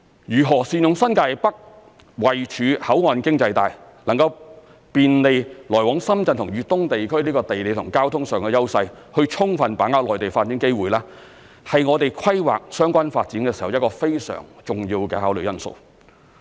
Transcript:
如何善用新界北位處口岸經濟帶，能夠便利來往深圳及粤東地區的地理及交通上的優勢，以充分把握內地發展機會是我們規劃相關發展時一個非常重要的考慮因素。